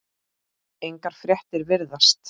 Engar fréttir virðast